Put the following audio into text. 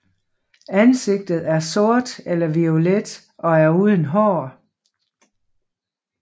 Ansigtet er sort eller violet og er uden hår